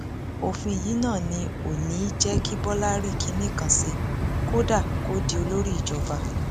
òfin yìí náà ni ò ní í jẹ kí bọlá rí kinní kan ṣe kódà kó di olórí ìjọba